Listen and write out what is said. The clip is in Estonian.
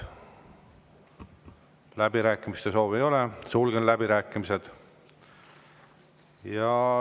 Läbirääkimiste soovi ei ole, sulgen läbirääkimised.